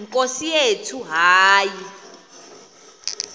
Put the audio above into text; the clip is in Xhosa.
nkosi yethu hayi